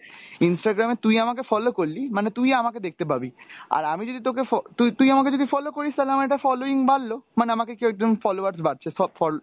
instagram এ তুই আমাকে follow করলি মানে তুই আমাকে দেখতে পাবি, আর আমি যদি তোকে ফ~ তুই তুই আমাকে যদি follow করিস তাহলে আমার একটা following বাড়লো, মানে আমাকে কেও একজন followers বাড়ছে ফল~